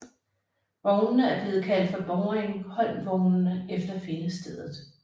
Vognene er blevet kaldt for boringholmvognene efter findestedet